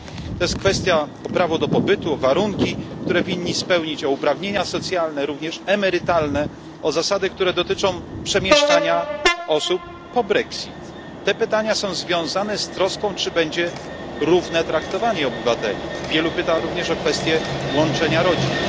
To jest kwestia prawa do pobytu, warunków, które winni spełnić, kwestia uprawnień socjalnych, również emerytalnych, zasad, które dotyczą przemieszczania się osób po brexicie te pytania są związane z troską, czy będzie równe traktowanie obywateli, wielu pyta również o kwestię łączenia rodzin.